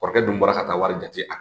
Kɔrɔkɛ dun bɔra ka ka wari jate a